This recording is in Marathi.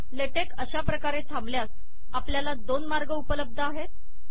लेटेक अशा प्रकारे थांबल्यास आपल्याला दोन मार्ग उपलब्ध आहेत